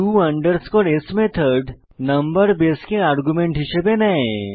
to s method number বেসকে argument রূপে নেয়